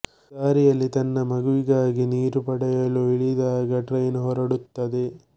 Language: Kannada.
ದಾರಿಯಲ್ಲಿ ತನ್ನ ಮಗುವಿಗಾಗಿ ನೀರು ಪಡೆಯಲು ಇಳಿದಾಗ ಟ್ರೇನ್ ಹೊರಡುತ್ತದೆ